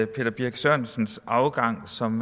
peter birch sørensens afgang som